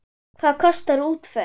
Hvað kostar útför?